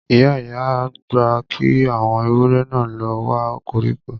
Ìyá-ìyá gbà kí àwọn ewúrẹ náà lọ wa koríko